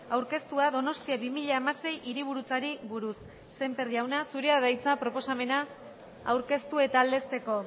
aurkeztua donostia bi mila hamasei hiriburutzari buruz sémper jauna zurea da hitza proposamena aurkeztu eta aldezteko